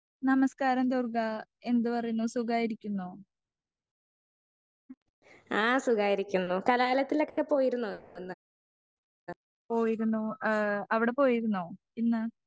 Speaker 2 നമസ്കാരം ദുർഗാ എന്ത് പറയുന്നു സുഖായിരിക്കുന്നോ? പോയിരുന്നു ഏഹ് അവിടെ പോയിരുന്നോ ഇന്ന്?